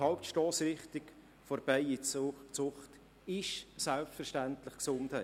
Die Hauptstossrichtung der Bienenzucht ist selbstverständlich die Gesundheit.